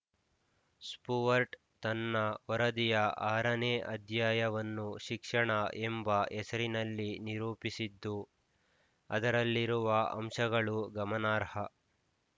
Stuart ತನ್ನ ವರದಿಯ ಆರನೇ ಅಧ್ಯಾಯವನ್ನು ಶಿಕ್ಷಣ ಎಂಬ ಹೆಸರಲ್ಲಿ ನಿರೂಪಿಸಿದ್ದು ಅದರಲ್ಲಿರುವ ಅಂಶಗಳು ಗಮನಾರ್ಹ